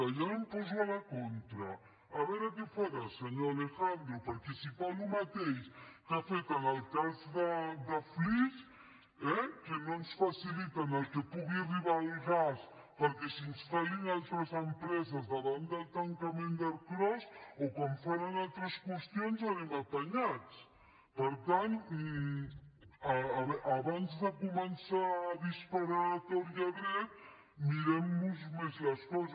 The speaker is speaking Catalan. i ara em poso a la contra a veure què farà senyor alejandro perquè si fa el mateix que ha fet en el cas de flix eh que no ens faciliten que pugui arribar el gas perquè s’instal·lin altres empreses davant del tancament d’ercros o com fan en altres qüestions anem apanyats per tant abans de començar a disparar a tort i dret mirem nos més les coses